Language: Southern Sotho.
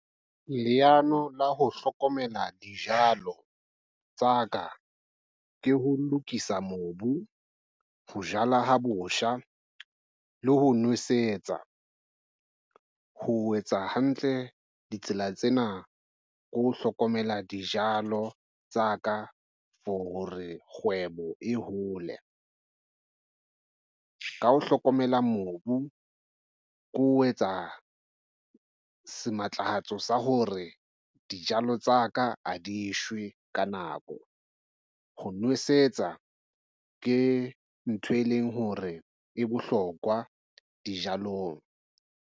Leano la ho hlokomela dijalo tsa ka ke ho lokisa mobu ho jala ho botjha le ho nwesetsa ho etsa hantle ditsela tsena ke ho hlokomela dijalo tsa ka for hore kgwebo e hole ka ho hlokomela mobu ke ho etsa sematlafatsi sa hore dijalo tsa ka ha di shwe ka nako. Ho nwesetsa ke ntho e leng hore e bohlokwa dijalong.